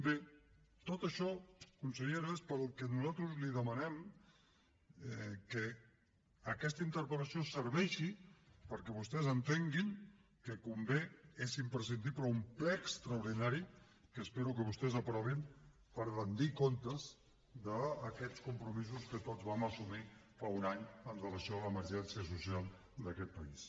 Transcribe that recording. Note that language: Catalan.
bé tot això consellera és pel que nosaltres li demanem que aquesta interpel·lació serveixi perquè vostès entenguin que convé és imprescindible un ple extraordinari que espero que vostès aprovin per rendir comptes d’aquests compromisos que tots vam assumir fa un any amb relació a l’emergència social d’aquest país